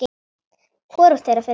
Hvorugt þeirra fer út.